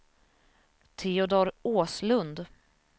Teodor Åslund